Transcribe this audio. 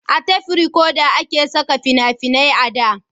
a tef rekoda a ke saka fina-finai a da